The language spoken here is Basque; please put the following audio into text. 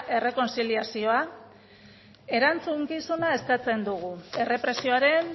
eta errekontziliazioa erantzukizuna eskatzen dugu errepresioaren